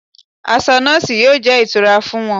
Aṣọ nọọsi yóò jẹ́ ìtura fún wọn